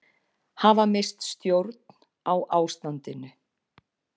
Hafa misst stjórn á ástandinu